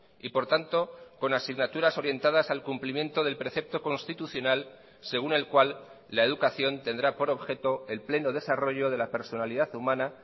y por tanto con asignaturas orientadas al cumplimiento del precepto constitucional según el cual la educación tendrá por objeto el pleno desarrollo de la personalidad humana